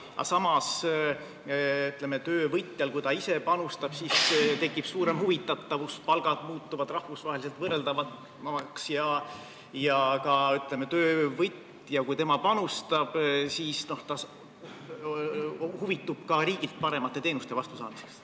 Aga samas tekib töövõtjal, kui ta ise panustab, suurem huvitatus, palgad muutuvad rahvusvaheliselt võrreldavamaks ja kui töövõtja panustab, siis ta huvitub ka riigilt paremate teenuste vastusaamisest.